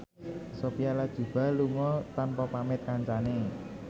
Sophia Latjuba lunga tanpa pamit kancane